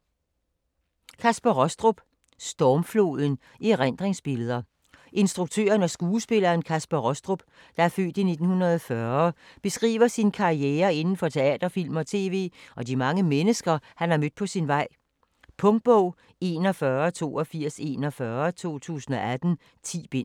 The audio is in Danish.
Rostrup, Kaspar: Stormfloden: erindringsbilleder Instruktøren og skuespilleren Kaspar Rostrup (f. 1940) beskriver sin karriere inden for teater, film og tv og de mange mennesker, han har mødt på sin vej. Punktbog 418241 2018. 10 bind.